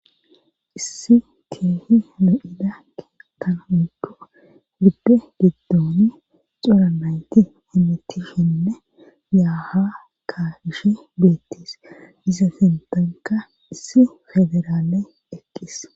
issi keehi lo7ida keettan woykko gibbe giddoni cora nayti beettisheni yaa haa kaa7ishe beettes;iza keettaykka issi ogerane eqqis.